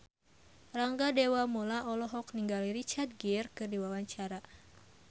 Rangga Dewamoela olohok ningali Richard Gere keur diwawancara